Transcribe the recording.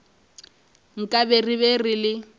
nkabe re be re le